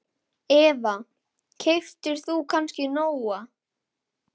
Eva: Keyptir þú kannski Nóa?